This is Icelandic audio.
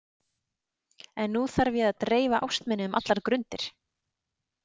En nú þarf ég að dreifa ást minni um allar grundir.